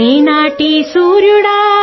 రేనాడు ప్రాంత వీరా